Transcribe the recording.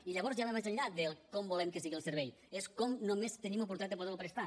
i llavors ja va més enllà de com volem que sigui el servei és com només tenim oportunitat de poder lo prestar